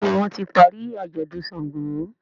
Béèni wón tí parí ajọdun ṣàngó.